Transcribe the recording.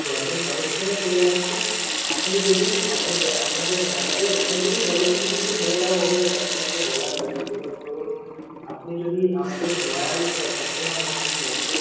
broadband connection ও চলে আসছে। আপনি যদি আমাদের ব~ আপনাদের মানে আমাদের এখন থেকেই policy কিছু কিছু বলে দেওয়া হয়েছে customer কে বলার জন্য। যেরম ধরুন, আপনি যদি আমাদের loyal customer হন SIM এর, তো